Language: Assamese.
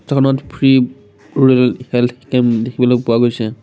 ফটোখনত ফ্ৰী ৰুৰাল হেলথ কেম্প দেখিবলৈ পোৱা গৈছে |